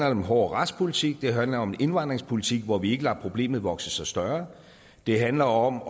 om en hård retspolitik det handler om en indvandringspolitik hvor vi ikke lader problemet vokse sig større det handler om